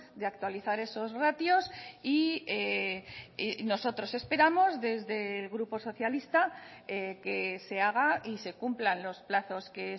de actualizar esos ratios y nosotros esperamos desde el grupo socialista que se haga y se cumplan los plazos que